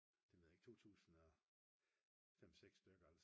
det ved jeg ikke 2005-6 stykker